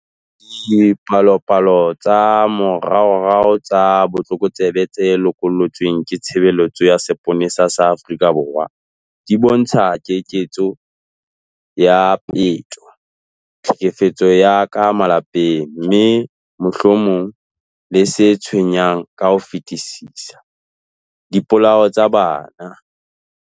Dipalopalo tsa moraorao tsa botlokotsebe tse loko llotsweng ke Tshebeletso ya Seponesa sa Afrika Borwa di bontsha keketseho ya peto, tlhekefetso ya ka malapeng, mme, mohlomong le se tshwenyang ka ho fetisisa, dipolao tsa bana.